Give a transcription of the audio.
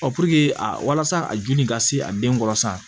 walasa a ju in ka se a denkɔrɔ sa